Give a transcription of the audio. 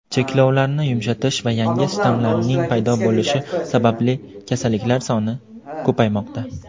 cheklovlarni yumshatish va yangi shtammlarning paydo bo‘lishi sababli kasalliklar soni ko‘paymoqda.